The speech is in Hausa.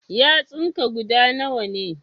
Yatsun ka guda nawa ne?